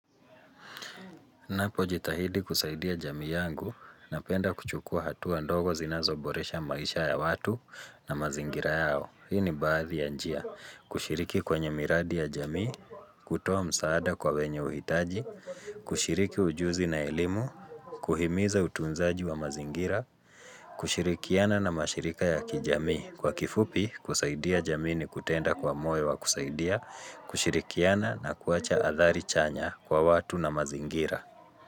Na pojitahidi kusaidia jamii yangu, napenda kuchukua hatuwa ndogo zinazo boresha maisha ya watu na mazingira yao. Hini baadhi ya njia, kushiriki kwenye miradi ya jamii, kutowa msaada kwa wenye uhitaji, kushiriki ujuzi na elimu, kuhimiza utunzaji wa mazingira, kushirikiana na mashirika ya kijami. Kwa kifupi, kusaidia jamii ni kutenda kwa moyo wa kusaidia, kushirikiana na kuacha athari chanya kwa watu na mazingira.